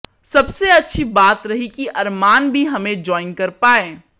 सबसे अच्छी बात रही कि अरमान भी हमें जॉइन कर पाए